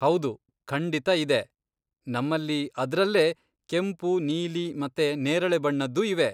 ಹೌದು, ಖಂಡಿತ ಇದೆ, ನಮ್ಮಲ್ಲಿ ಅದ್ರಲ್ಲೇ ಕೆಂಪು, ನೀಲಿ ಮತ್ತೆ ನೇರಳೆ ಬಣ್ಣದ್ದೂ ಇವೆ.